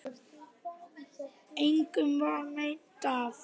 Engum varð meint af.